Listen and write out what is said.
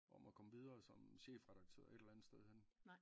Om at komme videre som chefredaktør et eller andet sted henne?